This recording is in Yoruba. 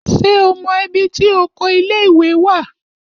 Ṣé o mọ ibi tí oko ilé-ìwé wà?